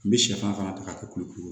N bɛ sɛfan fana ta ka kɛ kuluku ye